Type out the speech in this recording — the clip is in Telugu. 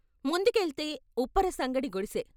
ముందుకెళ్తే ఉప్పర సంగడి గుడిసె.